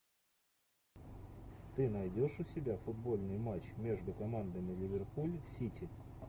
ты найдешь у себя футбольный матч между командами ливерпуль сити